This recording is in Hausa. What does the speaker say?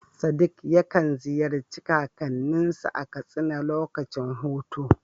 Sadiq yakan ziyarci kakanninsa a Katsina lokacin hutu.